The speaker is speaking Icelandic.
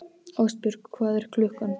Ástbjörg, hvað er klukkan?